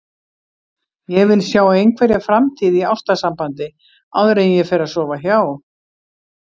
Ég vil sjá einhverja framtíð í ástarsambandi áður en ég fer að sofa hjá.